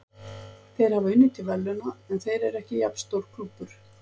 Þeir hafa unnið til verðlauna, en þeir eru ekki jafn stór klúbbur.